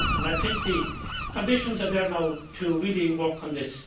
I think the conditions are there now to really work on this.